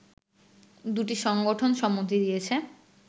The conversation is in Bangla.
দুটি সংগঠন সম্মতি দিয়েছে